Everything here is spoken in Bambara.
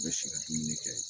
U bɛ si ka dumuni kɛ